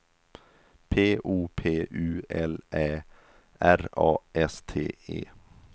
P O P U L Ä R A S T E